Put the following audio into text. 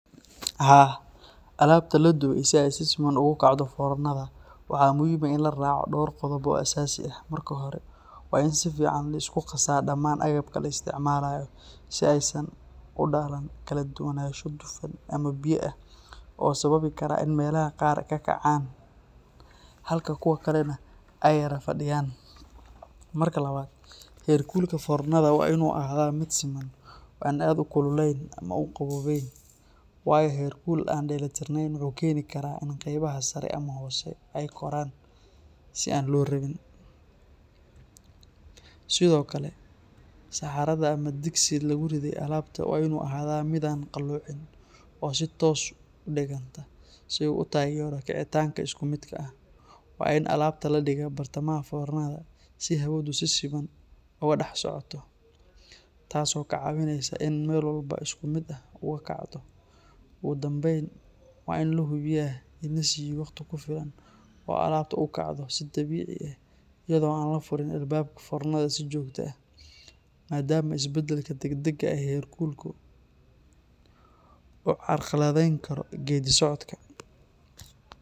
Haa, alabta la dubey si ay si siman ugu kacdo fornada waxaa muhiim ah in la raaco dhowr qodob oo asaasi ah. Marka hore, waa in si fiican loo isku qasaa dhammaan agabka la isticmaalayo, si aysan u dhalan kala duwanaansho dufan ama biyo ah oo sababi kara in meelaha qaar ka kacaan halka kuwo kalena ay yara fadhiyaan. Marka labaad, heerkulka fornada waa in uu ahaadaa mid siman oo aan aad u kululayn ama u qabownayn, waayo heerkul aan dheellitiranayn wuxuu keeni karaa in qaybaha sare ama hoose ay koraan si aan loo rabin. Sidoo kale, saxaarada ama digsigii lagu ridday alabta waa in uu ahaadaa mid aan qaloocin oo si toos ah u dhiganta, si uu u taageero kacitaanka isku midka ah. Waa in alabta la dhigaa bartamaha fornada si hawadu si siman uga dhex socoto, taas oo ka caawinaysa in ay meel walba si isku mid ah ugu kacto. Ugu dambayn, waa in la hubiyaa in la siiyo waqti ku filan oo alabta u kacdo si dabiici ah, iyadoo aan la furin albaabka fornada si joogto ah, maadaama isbeddelka degdega ah ee heerkulku uu carqaladeyn karo geeddi-socodka.